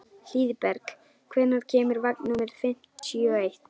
Hlíðberg, hvenær kemur vagn númer fimmtíu og eitt?